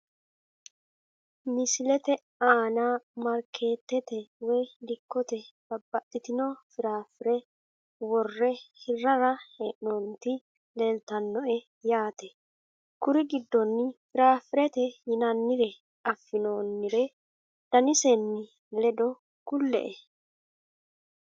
Misilete aana marketete woyi dikote babaxitino firaafire wore hirara heenoniti leeltanoe yaate kuri gidonino firaafirete yinaninire afinoonire danisenii ledo kule`e.